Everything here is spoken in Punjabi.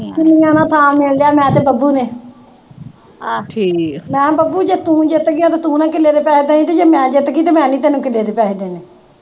ਕਿੱਲੇ ਦਾ ਥਾਂ ਮਿਣ ਲਿਆ ਮੈਂ ਤੇ ਬੱਬੂ ਨੇ ਮੈਂ ਕਿਹਾ ਬੱਬੂ ਜੇ ਤੂੰ ਜਿੱਤ ਗਿਆ ਮੈਨੂੰ ਤੂੰ ਨੀਂ ਕਿੱਲੇ ਦੇ ਪੈਸੇ ਦੇਣੇ ਤੇ ਜੇ ਮੈਂ ਜਿੱਤ ਗੀ, ਤਾਂ ਮੈਂ ਨੀਂ ਤੈਨੂੰ ਕਿੱਲੇ ਦੇ ਪੈਸੇ ਦੇਣੇ